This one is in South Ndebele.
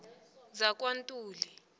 zakwantuli